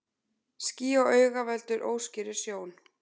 Ský á auga veldur óskýrri sjón.